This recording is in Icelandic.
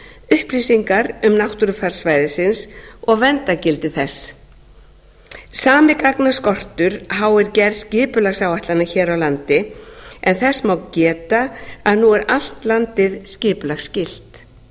vettvangsathugana upplýsingar um náttúrufar svæðisins og verndargildi þess sami gagnaskortur háir gerð skipulagsáætlana hér á landi en þess má geta að nú er allt landið skipulagsskylt